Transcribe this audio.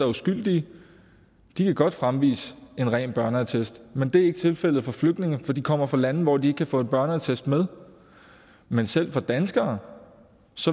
uskyldige kan godt fremvise en ren børneattest men det er ikke tilfældet for flygtninge for de kommer fra lande hvor de ikke kan få en børneattest med men selv hvad angår danskere